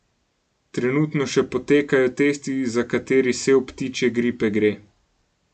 Trenutno še potekajo testi, za kateri sev ptičje gripe gre.